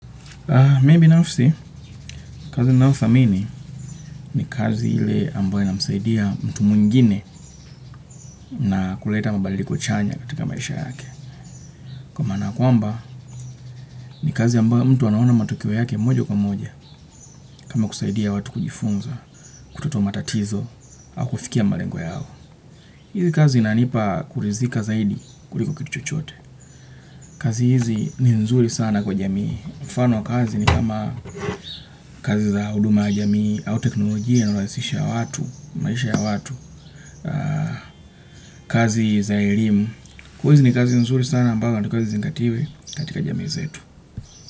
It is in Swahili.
Mimi nafsi, kazi nayothamini ni kazi ile ambayo inamsaidia mtu mwingine na kuleta mabadiliko chanya katika maisha yake. Kwa maana kwamba, ni kazi ambayo mtu anaona matokeo yake moja kwa moja, kama kusaidia watu kujifunza, kutatua matatizo, au kufikia malengo yao. Hizi kazi inanipa kurizika zaidi kuliko kitu chochote. Kazi hizi ni nzuri sana kwa jamii. Mfano wa kazi ni kama, kazi za huduma ya jamii au teknolojia hurahisisha watu, maisha ya watu. Kazi za elimu. Hizi ni kazi nzuri sana ambao inatakiwa izingatiwe katika jamii zetu.